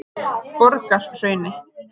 Borgarhrauni